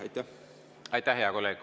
Aitäh, hea kolleeg!